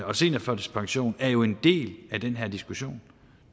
og seniorførtidspensionen er jo en del af den her diskussion